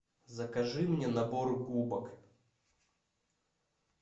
закажи мне набор губок